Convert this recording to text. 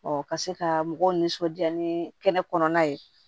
ka se ka mɔgɔw nisɔndiya ni kɛnɛ kɔnɔna ye